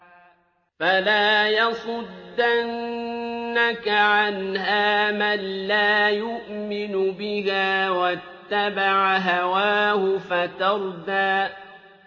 فَلَا يَصُدَّنَّكَ عَنْهَا مَن لَّا يُؤْمِنُ بِهَا وَاتَّبَعَ هَوَاهُ فَتَرْدَىٰ